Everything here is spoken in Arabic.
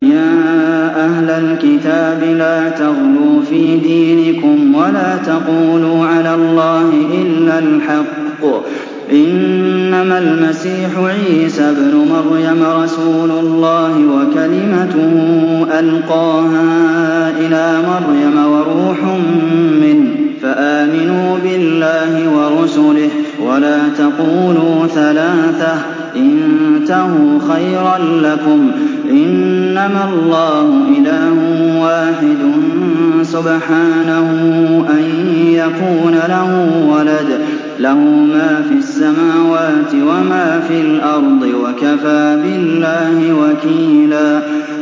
يَا أَهْلَ الْكِتَابِ لَا تَغْلُوا فِي دِينِكُمْ وَلَا تَقُولُوا عَلَى اللَّهِ إِلَّا الْحَقَّ ۚ إِنَّمَا الْمَسِيحُ عِيسَى ابْنُ مَرْيَمَ رَسُولُ اللَّهِ وَكَلِمَتُهُ أَلْقَاهَا إِلَىٰ مَرْيَمَ وَرُوحٌ مِّنْهُ ۖ فَآمِنُوا بِاللَّهِ وَرُسُلِهِ ۖ وَلَا تَقُولُوا ثَلَاثَةٌ ۚ انتَهُوا خَيْرًا لَّكُمْ ۚ إِنَّمَا اللَّهُ إِلَٰهٌ وَاحِدٌ ۖ سُبْحَانَهُ أَن يَكُونَ لَهُ وَلَدٌ ۘ لَّهُ مَا فِي السَّمَاوَاتِ وَمَا فِي الْأَرْضِ ۗ وَكَفَىٰ بِاللَّهِ وَكِيلًا